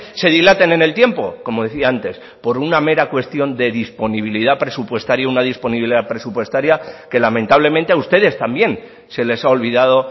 se dilaten en el tiempo como decía antes por una mera cuestión de disponibilidad presupuestaria una disponibilidad presupuestaria que lamentablemente a ustedes también se les ha olvidado